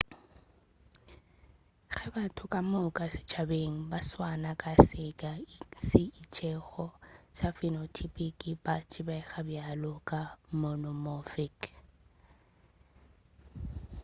ge batho ka moka setšhabeng ba swana ka seka se itšego sa phenotypic ba tsebega bjalo ka monomorphic